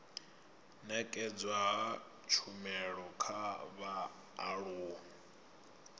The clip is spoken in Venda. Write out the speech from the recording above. nekedzwa ha tshumelo kha vhaaluwa